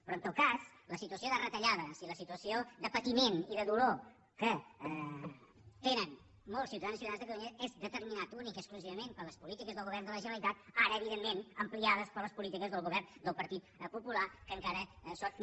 però en tot cas la situació de retallades i la situació de patiment i de dolor que tenen molts ciutadans i ciutadanes de catalunya és determinat únicament i exclusivament per les polítiques del govern de la generalitat ara evidentment ampliades per les polítiques del govern del partit popular que encara són